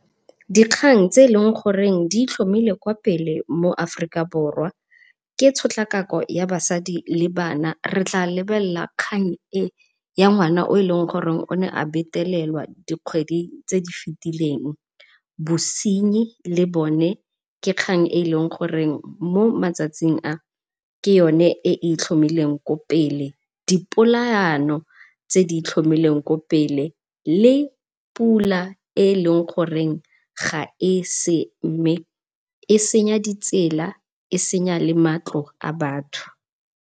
Dikgang tse e leng gore ditlhomile kwa pele mo Aforika Borwa ke tshotlakako ya basadi le bana. Re tla lebelela kgang e ya ngwana, o ne a betelelwa dikgwedi tse di fetileng. Bosenyi le bone ke kgang e leng goreng motsatsing a ke yone e e ithlomileng kwa pele, dipolaano tse di itlhomileng kwa pele le pula e e leng gore ga ese, e senya ditsela e senya le matlo a batho.